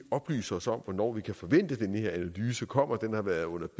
oplyse os om hvornår vi kan forvente at den her analyse kommer den har været på